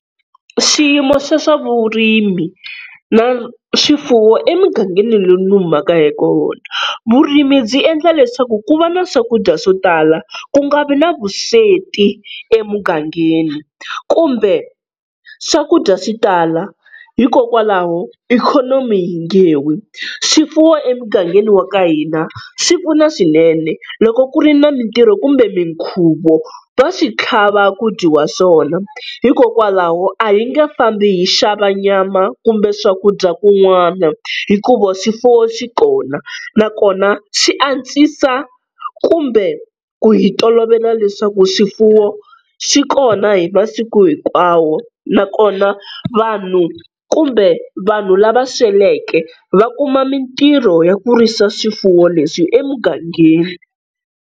Swiyimo swe swa vurimi na swifuwo emugangeni lowu ni humaka eka wona. Vurimi byi endla leswaku ku va na swakudya swo tala ku nga vi na vusweti emugangeni, kumbe swakudya swi tala hikokwalaho ikhonomi yi nge wi. Swifuwo emugangeni wa ka hina swi pfuna swinene loko ku ri na mintirho kumbe minkhuvo va swi tlhava ku dyiwa swona, hikokwalaho a hi nge fambi hi xava nyama kumbe swakudya kun'wana hikuva swifuwo swi kona nakona swi antswisa kumbe ku hi tolovela leswaku swifuwo swi kona hi masiku hinkwawo nakona vanhu kumbe vanhu lava sweleke va kuma mintirho ya ku risa swifuwo leswi emugangeni.